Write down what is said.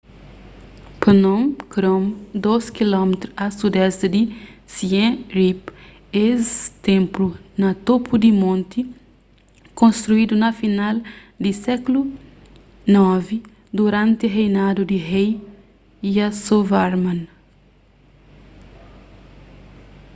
phnom krom 12 km a sudoesti di siem reap es ténplu na topu di monti konstruidu na final di sékulu ix duranti reinadu di rei yasovarman